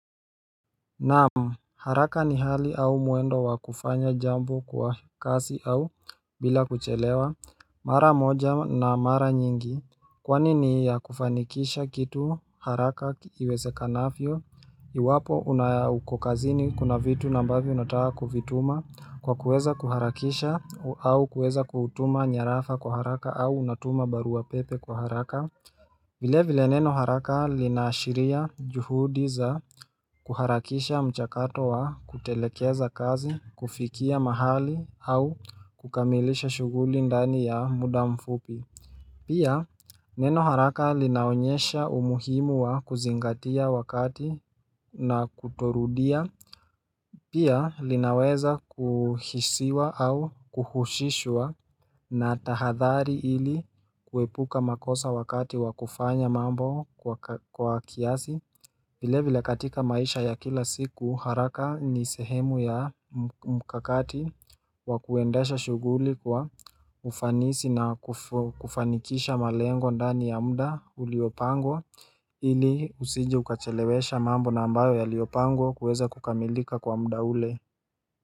Naam haraka ni hali au mwendo wa kufanya jambo kwa kasi au bila kuchelewa mara moja na mara nyingi Kwani ni ya kufanikisha kitu haraka iwezekanafyo Iwapo unaya uko kazini kuna vitu na ambavyo unataa kuvituma kwa kuweza kuharakisha au kuweza kutuma nyarafa kwa haraka au unatuma barua pepe kwa haraka vile vile neno haraka linaashiria juhudiz a kuharakisha mchakato wa kutelekeza kazi kufikia mahali au kukamilisha shughuli ndani ya muda mfupi Pia neno haraka linaonyesha umuhimu wa kuzingatia wakati na kutorudia Pia linaweza kuhisiwa au kuhushishwa na tahadhari ili kuepuka makosa wakati wa kufanya mambo kwa kiasi vile vile katika maisha ya kila siku haraka ni sehemu ya mkakati wa kuendasha shuguli kwa ufanisi na kufanikisha malengo ndani ya mda uliopango ili usije ukachelewesha mambo na ambayo yaliyopangwa kuweza kukamilika kwa muda ule.